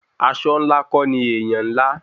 Aṣọ ńlá kọ́ ni èèyàn ńlá